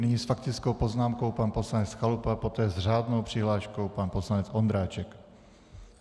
Nyní s faktickou poznámkou pan poslanec Chalupa, poté s řádnou přihláškou pan poslanec Ondráček.